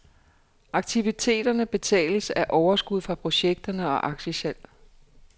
Aktiviteterne betales af overskud fra projekterne og aktiesalg.